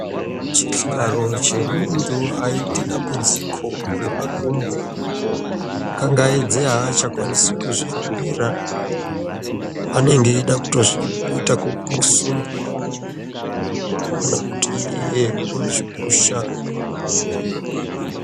Chihlayo chemuntu aite dambudziko remakumbo kangaidze aachakwanisi kuzvihambira anenge eida kuita kusundwa kana kuti iye ozvipusha.